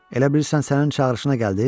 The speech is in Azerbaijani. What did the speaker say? Elə bilirsən sənin çağırışına gəldim?